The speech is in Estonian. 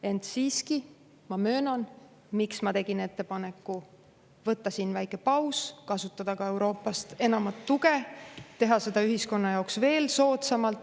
Ent siiski ma tegin ettepaneku teha siin väike paus, kasutada ka enamat tuge Euroopast, et teha seda ühiskonna jaoks veel soodsamalt.